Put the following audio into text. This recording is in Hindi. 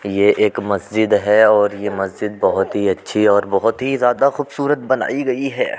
ये एक मस्जिद है और ये मस्जिद बहुत ही अच्छी और बहुत ही ज्यादा खूबसूरत बनाई गई है।